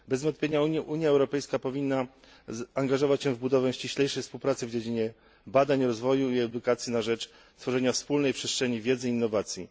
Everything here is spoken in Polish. Bez wątpienia Unia Europejska powinna angażować się w budowę ściślejszej współpracy w dziedzinie badań, rozwoju i edukacji na rzecz tworzenia wspólnej przestrzeni wiedzy i innowacji.